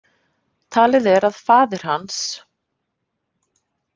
Talið er að faðir hans.